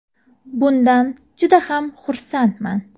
Bundan juda ham xursandman.